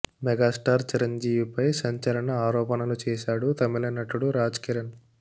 megastar Chiranjeevi పై సంచలన ఆరోపణలు చేసాడు తమిళ నటుడు రాజ్ కిరణ్